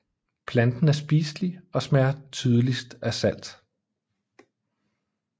Planten er spiselig og smager tydeligt af salt